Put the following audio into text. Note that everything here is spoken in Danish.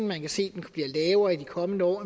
man kan se den bliver lavere i de kommende år